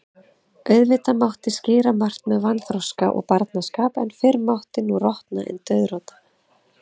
Auðvitað mátti skýra margt með vanþroska og barnaskap, en fyrr mátti nú rota en dauðrota.